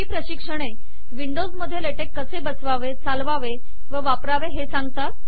ही प्रशिक्षणे विंडोज मध्ये लेटेक कसे बसवावे चालवावे व वापरावे ते सांगतात